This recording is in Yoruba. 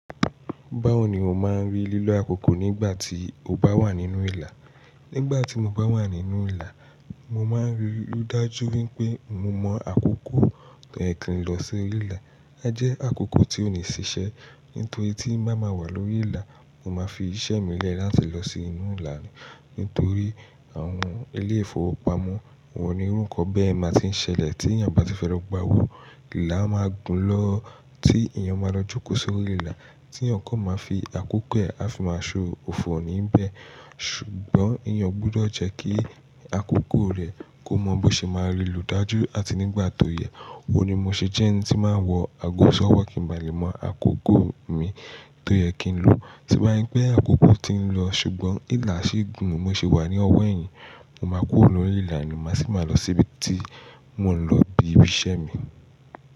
Báwo ni o máa ń rí lílo àkókò nígbà tí o bá wà nínú ìlà? Nígbà tí mo bá wà nínú ìlà, mo máa ń rí lúdájú wípé mo mọ àkókò tẹ̀kìn ló sí orí ìlà. A jẹ́ àkókò tí ó ní ṣiṣẹ́. Nítorí tí n bá máa wà lórí ìlà, mo máa fi iṣẹ́ mi lẹ́ láti lọ sí inú ìlà. Nítorí àwọn ilé ìfowópamọ́, wọ́n ní orúkọ bẹ́ẹ̀ máa ti ń ṣẹlẹ̀ tí ènìyàn bá ti fẹ́ lọ gbà owó. Ìlà máa gùn lọ tí ènìyàn máa lọ jókòó sórí ìlà. Tí èyàn kò máa fi àkókò rẹ̀, a fi máa so òfò níbẹ̀. Ṣùgbọ́n èyàn ó gbúdọ̀ jẹ́ kí àkókò rẹ̀ kó mọ bí ṣe máa rí lò dájú àti nígbà tó yẹ. Ó ní mo ṣe jẹ́ ẹni tí máa ń wọ àgò sọ́wọ́ kì ń bà lé mọ àkókò mi tó yẹ kí n lo. Tí bá rí pé àkókò ti ń lọ ṣùgbọ́n ìlà sì ń gùn, mo sì wà ní ọwọ́ ẹ̀yìn, mo máa kúrò lórí ìlà nì má sì máa lọ síbi tí mo ń lọ bi ibi iṣẹ́ mi.